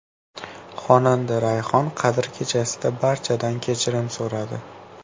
Xonanda Rayhon Qadr kechasida barchadan kechirim so‘radi.